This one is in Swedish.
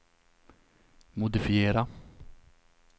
modifiera